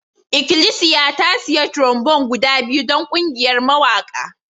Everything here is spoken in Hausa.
Ikilisiya ta sayi trombone guda biyu don ƙungiyar mawaƙa